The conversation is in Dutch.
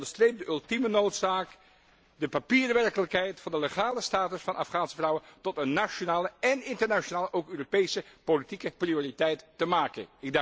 Het onderstreept de ultieme noodzaak de papieren werkelijkheid van de legale status van Afghaanse vrouwen tot een nationale en internationale, ook Europese politieke prioriteit te maken.